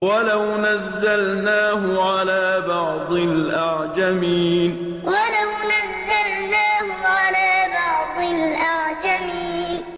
وَلَوْ نَزَّلْنَاهُ عَلَىٰ بَعْضِ الْأَعْجَمِينَ وَلَوْ نَزَّلْنَاهُ عَلَىٰ بَعْضِ الْأَعْجَمِينَ